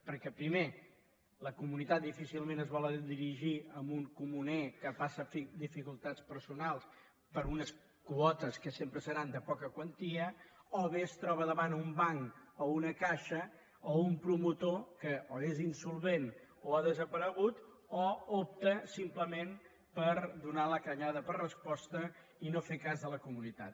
perquè primer la comunitat difícilment es vol dirigir a un comuner que passa dificultats personals per unes quotes que sempre seran de poca quantia o bé es troba davant un banc o una caixa o un promotor que o és insolvent o ha desaparegut o opta simplement per donar la callada per resposta i no fer cas de la comunitat